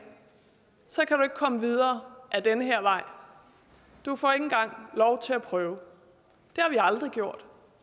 komme videre ad den her vej du får ikke engang lov til at prøve det har vi aldrig